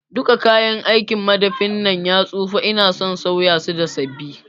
Duka kayan aikin madafin nan ya tsufa ina son sauya su da sabi